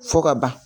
Fo ka ban